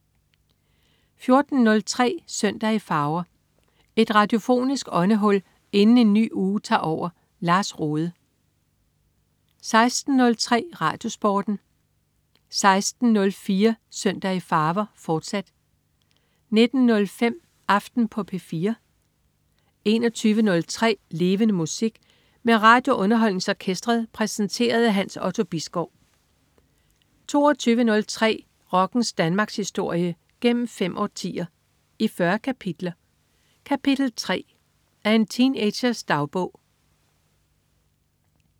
14.03 Søndag i farver. Et radiofonisk åndehul inden en ny uge tager over. Lars Rohde 16.03 RadioSporten 16.04 Søndag i farver, fortsat 19.05 Aften på P4 21.03 Levende Musik. Med RadioUnderholdningsOrkestret. Præsenteret af Hans Otto Bisgaard 22.03 Rockens Danmarkshistorie, gennem fem årtier, i 40 kapitler. Kapitel 3: Af en teenagers dagbog